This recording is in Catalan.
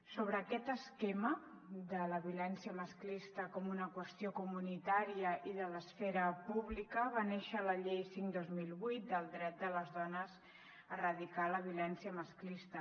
sobre aquest esquema de la violència masclista com una qüestió comunitària i de l’esfera pública va néixer la llei cinc dos mil vuit del dret de les dones a erradicar la violència masclista